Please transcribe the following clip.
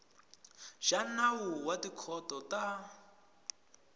xa nawu wa tikhoto ta